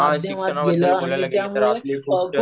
हा शिक्षणावर बघायला गेलं तर